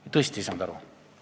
Ma tõesti ei saanud aru.